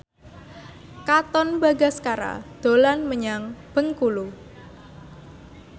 Katon Bagaskara dolan menyang Bengkulu